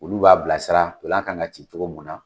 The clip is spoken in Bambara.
Olu b'a bilasira dolan kan ka ci togo mun na